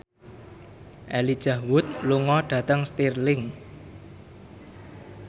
Elijah Wood lunga dhateng Stirling